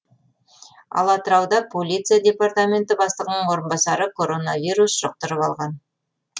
ал атырауда полиция департаменті бастығының орынбасары коронавирус жұқтырып алған